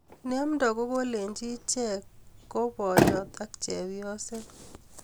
Ne amdoi ko kolechi ichet ko boyot ak chepyoset